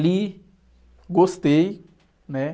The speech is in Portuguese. Li, gostei, né?